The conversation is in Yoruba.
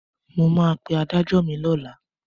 Mo máa pe adájọ́ mi lọ́la.